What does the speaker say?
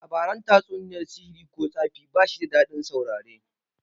Labaran tatsuniyar sihiri ko tsafi bashi da dadin saurare